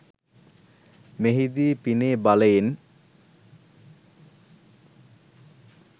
මෙහි දී පිනේ බලයෙන්